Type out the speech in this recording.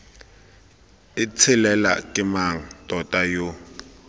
itshelela ke mang tota yo